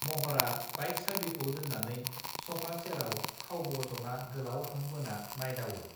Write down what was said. महरा बाइक साबिखौ दोत्रानै सफा सेरआव खावब जना गोलाव हां बोना नायदावो